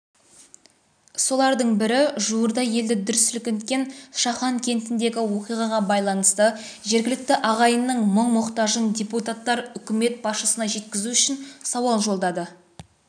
солардың бірі жауырда елді дүр сілкінткен шахан кентіндегі оқиғаға байланысты жергілікті ағайынның мұң-мұқтажын депутаттар үкімет басшысына жеткізу үшін сауал жолдады